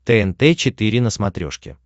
тнт четыре на смотрешке